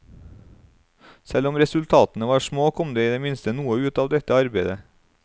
Selv om resultatene var små, kom det i det minste noe ut av dette arbeidet.